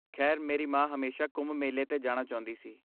ਖੈਰ, ਮੇਰੀ ਮਾਂ ਹਮੇਸ਼ਾ ਕੁੰਭ ਮੇਲੇ 'ਤੇ ਜਾਣਾ ਚਾਹੁੰਦੀ ਸੀ।